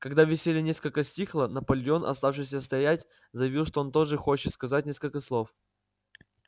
когда веселье несколько стихло наполеон оставшийся стоять заявил что он тоже хочет сказать несколько слов